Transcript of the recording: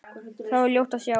Þar var ljótt að sjá.